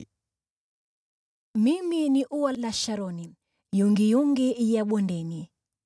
Mimi ni ua la Sharoni, yungiyungi ya bondeni.